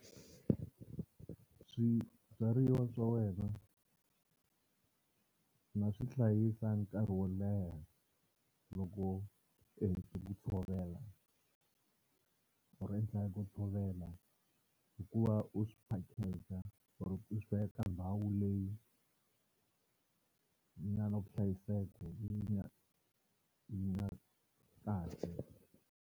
Swibyariwa swa wena u nga swi hlayisa nkarhi wo leha loko u hetile ku tshovela endla ku tshovela hikuva u swi package or u swiveka ka ndhawu leyi nga na vuhlayiseko yi nga kahle.